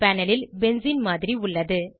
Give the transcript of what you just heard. panel ல் benzene மாதிரி உள்ளது